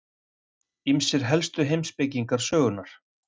Ýmsir helstu heimspekingar sögunnar.